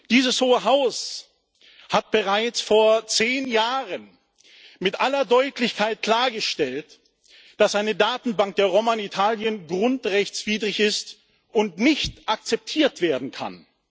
Dieses Hohe Haus hat bereits vor zehn Jahren mit aller Deutlichkeit klargestellt, dass eine Datenbank der Roma in Italien grundrechtswidrig ist und nicht akzeptiert werden kann.